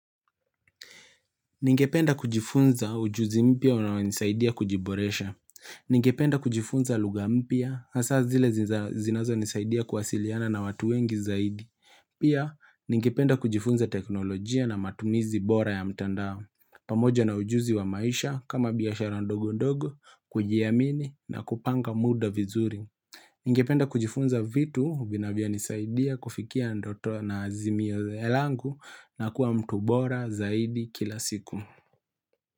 Ningependa kujifunza ujuzi mpya unayonisaidia kujiboresha. Ningependa kujifunza lugha mpya, hasa zile zinazonisaidia kuwasiliana na watu wengi zaidi. Pia, ningependa kujifunza teknolojia na matumizi bora ya mtandao. Pamoja na ujuzi wa maisha, kama biashara ndogondogo, kujiamini na kupanga muda vizuri. Ningependa kujifunza vitu, vinvyonisaidia kufikia ndoto na azimio langu na kuwa mtu bora zaidi kila siku.